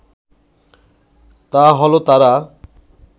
তা হলো তারা